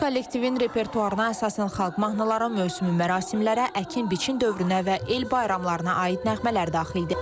Kollektivin repertuarına əsasən xalq mahnıları, mövsümi mərasimlərə, əkin biçin dövrünə və el bayramlarına aid nəğmələr daxildir.